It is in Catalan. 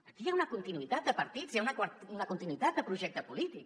aquí hi ha una con·tinuïtat de partits hi ha una continuïtat de projecte polític